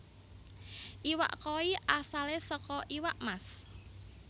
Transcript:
Iwak koi asalé saka iwak mas